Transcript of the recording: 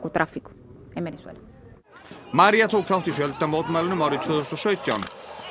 María tók þátt í árið tvö þúsund og sautján